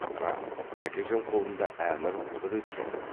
рас тәкежан қолында әмір құдірет жоқ